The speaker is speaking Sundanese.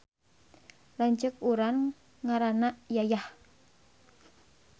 Lanceuk urang ngaranna Yayah